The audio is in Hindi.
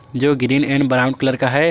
जो ग्रीन एंड ब्राउन कलर का है।